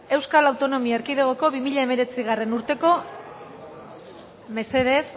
euskal autonomia erkidegoko bi mila hemeretzigarrena urteko